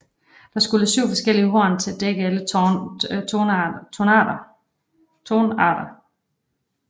Der skulle syv forskellige horn til at dække alle tonarter